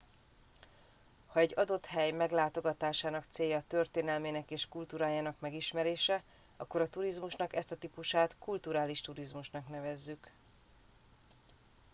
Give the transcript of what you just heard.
ha egy adott hely meglátogatásának célja történelmének és kultúrájának megismerése akkor a turizmusnak ezt a típusát kulturális turizmusnak nevezzük